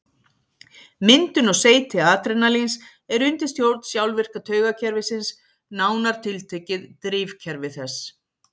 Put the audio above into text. Myndun og seyti adrenalíns er undir stjórn sjálfvirka taugakerfisins, nánar tiltekið drifkerfi þess.